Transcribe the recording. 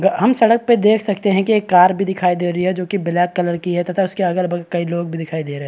हम सड़क पे देख सकते हैं कि एक कार भी दिखाई दे रही है जो कि ब्लैक कलर की है तथा उसके अगल-बगल कई लोग भी दिखाई दे रहे हैं।